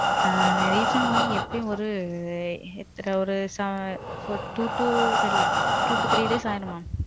refund எப்பிடியும் ஒரு ஆ. ச ச ஒரு two to. two to three days ஆயிரும் mam.